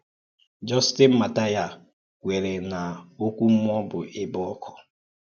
Justin Martyr kwèrè na ọ́kụ́ mmúọ̀ bụ́ ẹ̀bè ọ́kụ́.